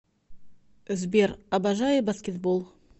сбер обожаю баскетбол